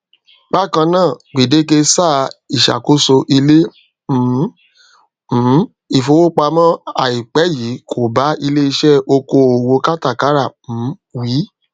bakan naa gbedeke saa iṣakoso ile um um ifowopamọ aipẹ yii ko ba ileiṣẹ okoowo katakara um wi